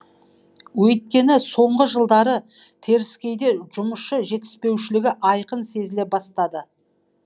өйткені соңғы жылдары теріскейде жұмысшы жетіспеушілігі айқын сезіле бастады